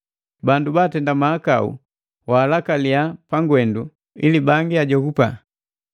Bandu baatenda mahakau waalakalia pangwendu, ili bangi ajogapa.